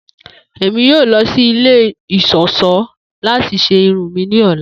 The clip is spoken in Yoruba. Emi yoo lọ si ile iṣọṣọ lati ṣe irun mi ni ọla.